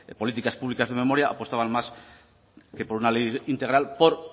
políticas públicas de memoria apostaban más que por una ley integral por